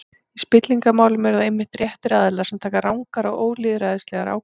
Í spillingarmálum eru það einmitt réttir aðilar sem taka rangar og ólýðræðislegar ákvarðanir.